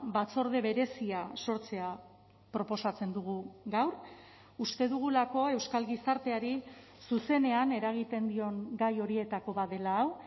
batzorde berezia sortzea proposatzen dugu gaur uste dugulako euskal gizarteari zuzenean eragiten dion gai horietako bat dela hau